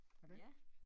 Ja